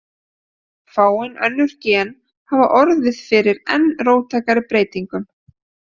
Fáein önnur gen hafa orðið fyrir enn róttækari breytingum.